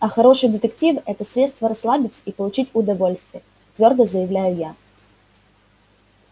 а хорошиё детектив это средство расслабиться и получить удовольствие твёрдо заявляю я